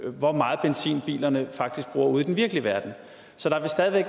hvor meget benzin bilerne faktisk bruger ude i den virkelige verden så der vil